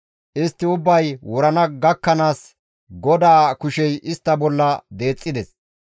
Istti ubbay wurana gakkanaas GODAA kushey istta bolla deexxides.